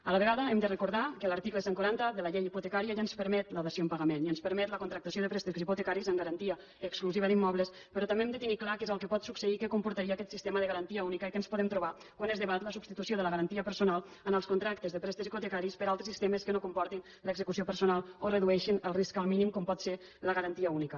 a la vegada hem de recordar que l’article cent i quaranta de la llei hipotecària ja ens permet la dació en pagament ja ens permet la contractació de préstecs hipotecaris amb garantia exclusiva d’immobles però també hem de tenir clar què és el que pot succeir què comportaria aquest sistema de garantia única i què ens podem trobar quan es debat la substitució de la garantia personal en els contractes de préstecs hipotecaris per altres sistemes que no comportin l’execució personal o en redueixin el risc al mínim com pot ser la garantia única